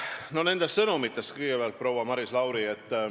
Kõigepealt nendest sõnumitest, proua Maris Lauri.